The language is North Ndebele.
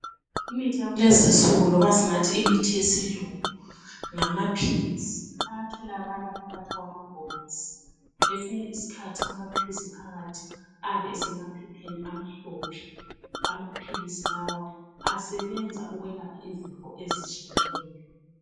imithi yakulezinsuku loba singathi imithi yesilungu ngamaphilisi atholakala ephakathi kwamabhokisi kwesinye isikhathi amaphilisi phakathi ayabe esemaphepheni amhlophe amaphilisi lawa asebenza ukwelapha izifo ezitshiyeneyo